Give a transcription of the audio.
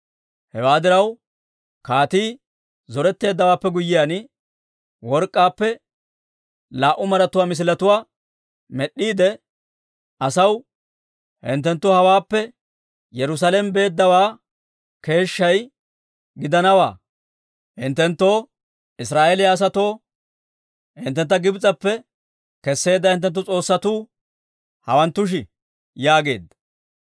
Hewaa diraw, kaatii zoretteeddawaappe guyyiyaan work'k'aappe laa"u maratuwaa misiletuwaa med'd'iide asaw, «Hinttenttu hawaappe Yerusaalame beeddawaa keeshshay gidanawaa. Hinttenttoo Israa'eeliyaa asatoo, hinttentta Gibs'eppe kesseedda hinttenttu s'oossatuu hawanttushi!» yaageedda.